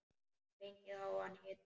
Fengið háan hita.